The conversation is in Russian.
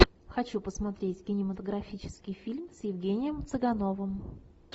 хочу посмотреть кинематографический фильм с евгением цыгановым